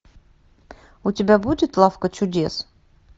у тебя будет лавка чудес